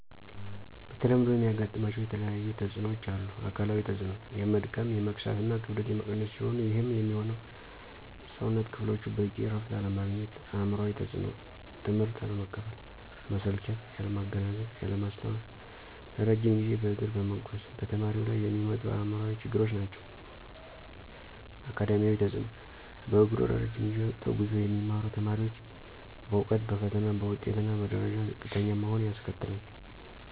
በተለምዶ የሚያጋጥማቸው የተለያየተፅኖዎች አሉ። -አካላዊ ተፅኖ፦ የመድከም፣ የመክሳት እና ክብደት የመቀነስ ሲሆኑ ይህም የሚሆነው የሠውነት ክፍሎቹ በቂ እረፍት አለማግኘት። -አእምሯዊ ተፅኖ፦ ትምህትን አለመቀበል፣ መሰልቸት፣ ያለማገናዘብ፣ ያለማስታወስ ለረጅም ጊዜ በእግር በመጓዝ በተማሪው ላይ የሚመጡ አእምሯዊ ችግሮች ናቸው። -አካዳሚያዊ ተፅኖ፦ በእግሩ ለረጅ ጊዜ ተጉዞ የሚማሩ ተማሪዎች በእውቀት፣ በፈተና፣ በውጤት እና በደረጃ ዝቅተኛ መሆን ያስከትላል